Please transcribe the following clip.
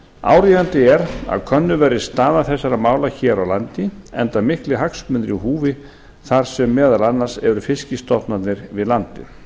áríðandi er að könnuð verði staða þessara mála hér á landi enda miklir hagsmunir í húfi þar sem meðal annars eru fiskstofnarnir við landið